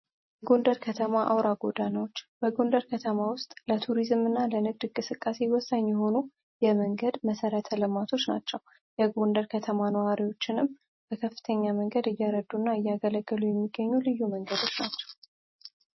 የጉንደር ከተማ አውራ ጎዳናዎች በጎንደር ከተማ ውስጥ ለቱሪዝም እና ለንግድግ ስቃሴ ይወሳኝ የሆኑ የመንገድ መሰረ ተለማቶች ናቸው የጎንደር ከተማ ነዋሪዎችንም በከፍተኛ መንገድ እያረዱ እና እያገለገሉ የሚገኙ ልዩ መንገዶች ናቸው